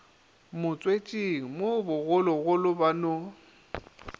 motswetšing mo bogologolo ba no